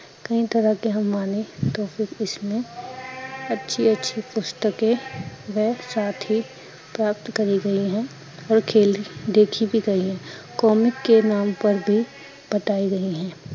ਕਈ ਤਰਾਂ ਕੇ ਹਮ ਮਾਂਨੇ ਅੱਛੀ ਅੱਛੀ ਪੁਸਤਕੇ, ਬਹ ਸਾਥ ਹੀਂ ਪ੍ਰਾਪਤ ਕਰੀ ਗਈ ਹੈ ਓਰ ਖੇਲ ਦੇਖਿ ਬੀ ਗਈ ਹੈ comic ਕੇ ਨਾਮ ਪਰ ਬੀ ਬਤਾਈ ਗਈ ਹੈ